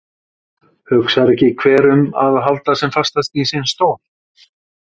Hugsar ekki hver um að halda sem fastast í sinn stól?